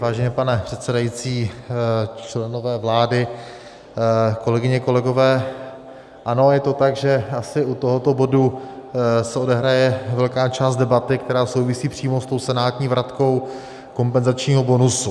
Vážený pane předsedající, členové vlády, kolegyně, kolegové, ano, je to tak, že asi u tohoto bodu se odehraje velká část debaty, která souvisí přímo s tou senátní vratkou kompenzačního bonusu.